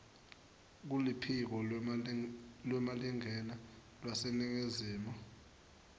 kuluphiko lwemalingena lwaseningizimu